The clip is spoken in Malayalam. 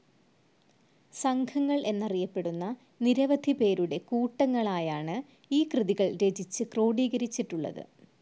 സംഘങ്ങൾ എന്നറിയപ്പെടുന്ന നിരവധി പേരുടെ കൂട്ടങ്ങളായാണ് ഈ കൃതികൾ രചിച്ചു ക്രോഡീകരച്ചിട്ടുളളത്.